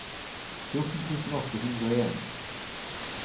fjorten tusen åtte hundre og en